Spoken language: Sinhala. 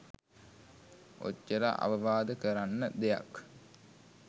ඔච්චර අවවාද කරන්න දෙයක්